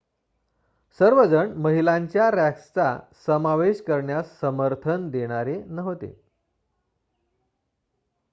सर्वजण महिलांच्या रँक्सचा समावेश करण्यास समर्थन देणारे नव्हते